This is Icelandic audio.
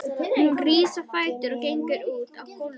Hún rís á fætur og gengur út á gólfið.